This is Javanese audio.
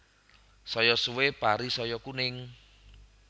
Saya suwe pari saya kuning